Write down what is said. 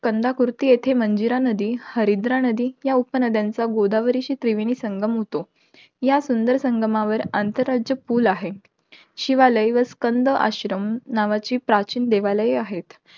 कांदाकुर्ती येथे मंजिरा नदी, हरिद्रा नदी या उपनद्यांचा गोदावरीशी त्रिवेणी संगम होतो. या सुंदर संगमावर, आंतरराज्य पूल आहे. शिवालय व स्कंद आश्रम नावाची प्राचीन देवालयं आहेत.